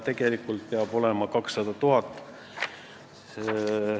Tegelikult peab seal olema 200 000 eurot.